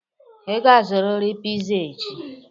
Ị ga-azụrịrị piza echi!